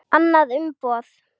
Annað umboð.